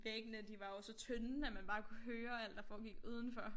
Væggene de var jo så tynde at man bare kunne høre alt der foregik udenfor